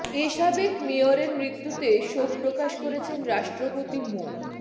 এ সাবেক মেয়রের মৃত্যুতে শোক প্রকাশ করেছেন রাষ্ট্রপতি মো